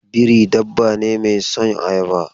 Biri dabba ne mai son ayaba.